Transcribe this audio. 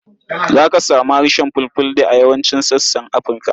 Za ka samu harshen Fulfulde a yawancin sassan Afirka.